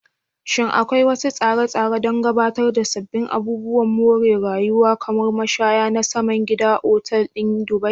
Shin akwai wasu tsare-tsare don gabatar da sabbin abubuwan more rayuwa, kamar mashaya na saman gida, a Otal ɗin Dubai?